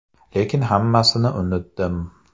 Lekin hammasini unutdim.